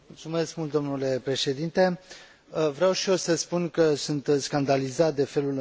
Vreau și eu să spun că sunt scandalizat de felul în care arată legea despre care discutăm